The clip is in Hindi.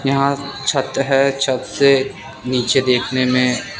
यहां छत है छत से नीचे देखने में--